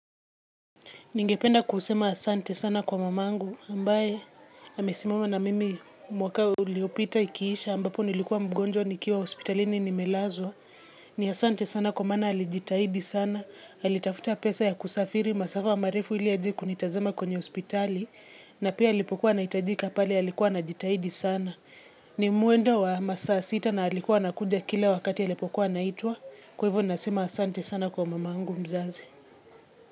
Ningependa kusema asante sana kwa mamangu, ambaye amesimama na mimi mwaka uliopita ikiisha ambapo nilikuwa mgonjwa nikiwa hospitalini nimelazwa. Ni asante sana kwa mana alijitahidi sana, alitafuta pesa ya kusafiri, masafa marefu ili aje kunitazama kwenye hospitali, na pia alipokuwa anaitajika pale alikuwa anajitahidi sana. Ni muendo wa masaa sita na alikuwa anakuja kila wakati alipokuwa anaitwa. Kwa hivyo nasema asante sana kwa mamangu mzazi.